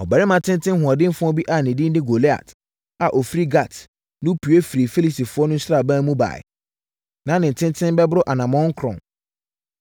Ɔbarima tenten hoɔdenfoɔ bi a ne din de Goliat a ɔfiri Gat no pue firii Filistifoɔ no sraban mu baeɛ. Na ne tenten bɛboro anammɔn nkron.